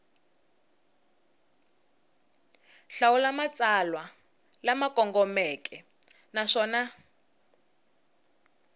hlawula matsalwa lama kongomeke naswona